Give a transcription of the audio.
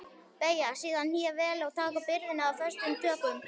Beygja síðan hné vel og taka byrðina föstum tökum.